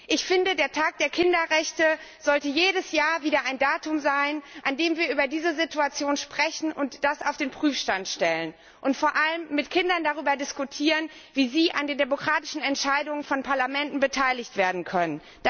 Ich finde, der Tag der Kinderrechte sollte jedes Jahr wieder ein Datum sein, an dem wir über diese Situation sprechen und das auf den Prüfstand stellen, und vor allem mit Kindern darüber diskutieren, wie sie an den demokratischen Entscheidungen von Parlamenten beteiligt werden können.